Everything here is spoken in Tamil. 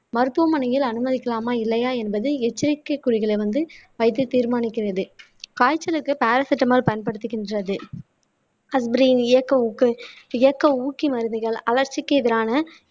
மருத்துவமனையில் அனுமதிக்கலாமா இல்லையா என்பது எச்சரிக்கை குறிகளை வந்து வைத்து தீர்மானிக்கிறது காய்ச்சலுக்கு பாராசெட்டமால் பயன்படுத்துகின்றது ஊக்கி மருந்துகள் அலற்சிக்கு எதிரான